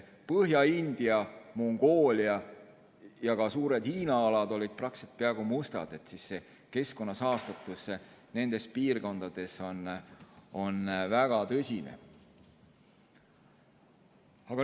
Põhja-India, Mongoolia ja ka suured Hiina alad olid praktiliselt peaaegu mustad, keskkonna saastatus nendes piirkondades on väga tõsine.